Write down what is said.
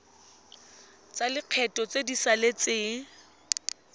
tsa lekgetho tse di saletseng